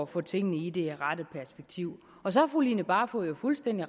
få tingene i det rette perspektiv så har fru line barfod jo fuldstændig